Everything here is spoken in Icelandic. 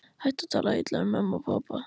Hættu að tala illa um mömmu og pabba!